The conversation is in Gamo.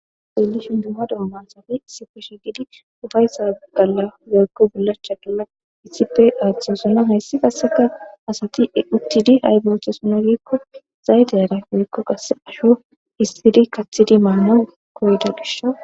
Xellishin duma duma asati issippe shiqidi ufaysas woykon bulachas kathosona haysi qaseka asati uttidi ayba othosona gikko zayte ayban asho histidi kathidi mana koyida gishi